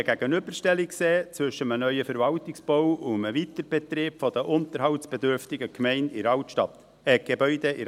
Ich habe nie eine Gegenüberstellung zwischen einem neuen Verwaltungsbau und dem Weiterbetrieb eines unterhaltsbedürftigen Gebäudes in der Altstadt gesehen;